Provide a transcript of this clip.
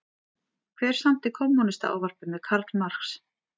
Hver samdi Kommúnistaávarpið með Karl Marx?